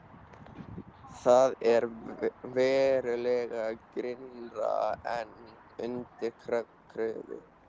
Það er verulega grynnra en undir Kröflu.